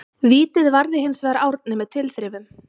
Vítið varði hinsvegar Árni með tilþrifum.